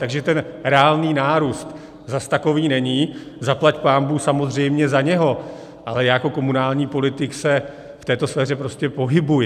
Takže ten reálný nárůst zas takový není, zaplať pánbůh samozřejmě za něj, ale já jako komunální politik se v této sféře prostě pohybuji.